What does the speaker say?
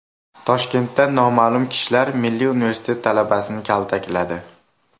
Toshkentda noma’lum kishilar Milliy Universitet talabasini kaltakladi.